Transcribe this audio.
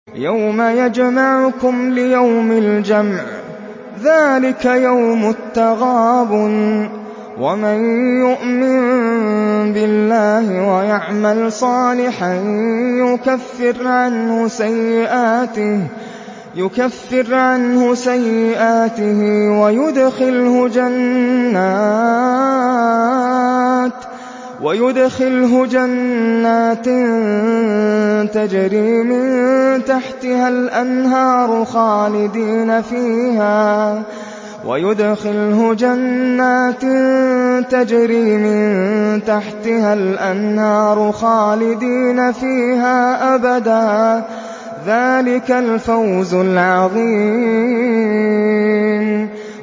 يَوْمَ يَجْمَعُكُمْ لِيَوْمِ الْجَمْعِ ۖ ذَٰلِكَ يَوْمُ التَّغَابُنِ ۗ وَمَن يُؤْمِن بِاللَّهِ وَيَعْمَلْ صَالِحًا يُكَفِّرْ عَنْهُ سَيِّئَاتِهِ وَيُدْخِلْهُ جَنَّاتٍ تَجْرِي مِن تَحْتِهَا الْأَنْهَارُ خَالِدِينَ فِيهَا أَبَدًا ۚ ذَٰلِكَ الْفَوْزُ الْعَظِيمُ